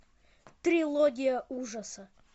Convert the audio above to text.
трилогия ужаса